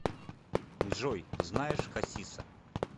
джой знаешь хасиса